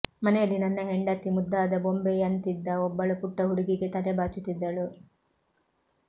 ಮನೆಯಲ್ಲಿ ನನ್ನ ಹೆಂಡತಿ ಮುದ್ದಾದ ಬೊಂಬೆಯಂತಿದ್ದ ಒಬ್ಬಳು ಪುಟ್ಟ ಹುಡುಗಿಗೆ ತಲೆಬಾಚುತ್ತಿದ್ದಳು